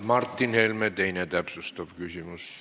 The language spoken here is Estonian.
Martin Helme, teine täpsustav küsimus.